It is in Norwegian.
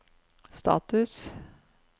status